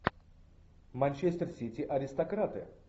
манчестер сити аристократы